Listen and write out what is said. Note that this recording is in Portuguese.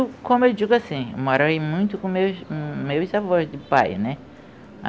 Olha, como eu digo assim, eu morei muito com meus meus avós de pai, né?